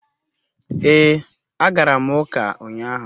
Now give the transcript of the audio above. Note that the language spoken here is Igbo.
Ee, agara m uka unyahu